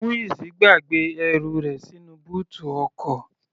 Muiz gbàgbé ẹrù rẹ̀ sínú bóòtù ọkọ̀.